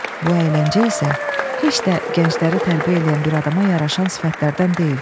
Bu əyləncə isə heç də gəncləri tərbiyə eləyən bir adama yaraşan sifətlərdən deyil.